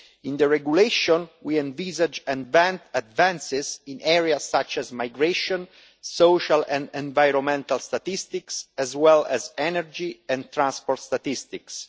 In the regulation, we envisage advances in areas such as migration, social and environmental statistics, as well as energy and transport statistics.